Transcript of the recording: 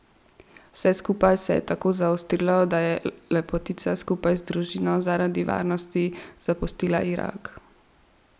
Vse skupaj se je tako zaostrilo, da je lepotica skupaj z družino zaradi varnosti zapustila Irak.